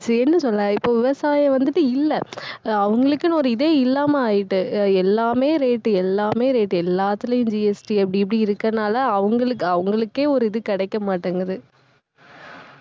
என்ன சொல்ல இப்போ விவசாயம் வந்துட்டு, இல்லை. அஹ் அவங்களுக்குன்னு, ஒரு இதே இல்லாம ஆயிட்டு. எல்லாமே rate எல்லாமே rate எல்லாத்துலயும் GST அப்படி இப்படி இருக்கிறதுனால அவங்களுக்கு அவங்களுக்கே ஒரு இது கிடைக்க மாட்டேங்குது